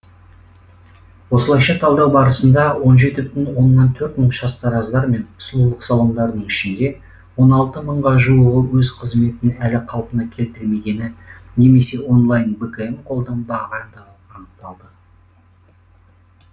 осылайша талдау барысында он жеті бүтін оннан төрт мың шаштараздар мен сұлулық салондарының ішінде он алты мыңға жуығы өз қызметін әлі қалпына келтірмегені немесе онлайн бкм қолданбағандығы анықталды